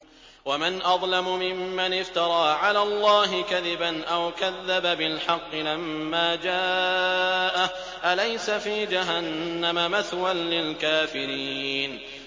وَمَنْ أَظْلَمُ مِمَّنِ افْتَرَىٰ عَلَى اللَّهِ كَذِبًا أَوْ كَذَّبَ بِالْحَقِّ لَمَّا جَاءَهُ ۚ أَلَيْسَ فِي جَهَنَّمَ مَثْوًى لِّلْكَافِرِينَ